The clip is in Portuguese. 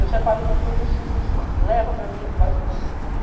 Eu separo tudo que eu preciso, você leva para mim e traz o produto, pronto.